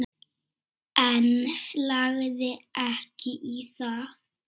En lagði ekki í það.